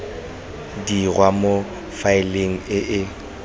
dirwa mo faeleng e e